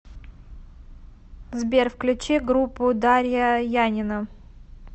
сбер включи группу дарья янина